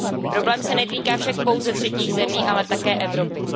Problém se netýká však pouze třetích zemí, ale také Evropy.